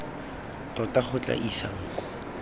tota go tla isang kwa